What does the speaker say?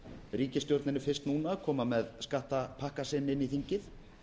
ríkisstjórnin er fyrst núna að koma með skattapakka sinn inn í þingið